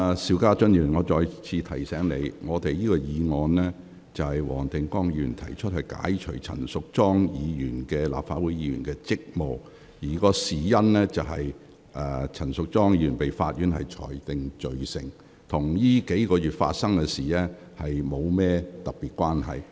邵家臻議員，我再次提醒你，這項由黃定光議員動議的議案旨在解除陳淑莊議員的立法會議員職務，事緣陳淑莊議員早前被區域法院裁定罪成，與過去數月發生的事件並無特別關係。